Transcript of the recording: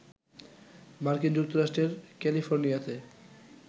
মার্কিন যুক্তরাষ্ট্রের ক্যালিফোর্নিয়াতে